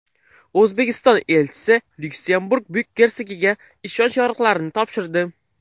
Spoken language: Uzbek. O‘zbekiston elchisi Lyuksemburg Buyuk gersogiga ishonch yorliqlarini topshirdi.